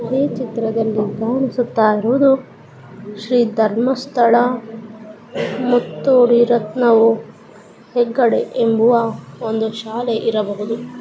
ಈ ಚಿತ್ರ್ದಲ್ಲಿ ಕಾಣಿಸುತ್ತಾ ಇರೋದು ಶ್ರೀ ಧರ್ಮಸ್ಥಳ ಮುತ್ತೋಡಿ ರತ್ನವು ಹೆಗ್ಗಡೆ ಎಂಬುವ ಒಂದು ಶಾಲೆ ಇರಬಹುದು .